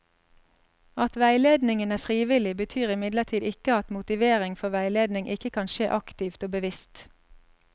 At veiledningen er frivillig, betyr imidlertid ikke at motivering for veiledning ikke kan skje aktivt og bevisst.